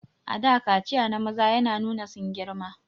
A da kaciya na maza yana nuna sun girma